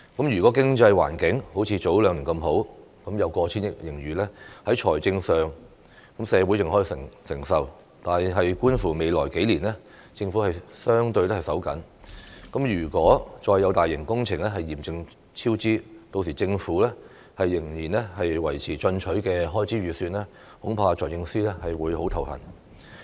如果經濟環境好像早兩年那麼好，有過千億元盈餘，在財政上社會尚可承受，但觀乎未來數年政府相對"手緊"，如果再有大型工程嚴重超支，屆時政府仍要維持進取的開支預算，恐怕財政司司長會很頭痛。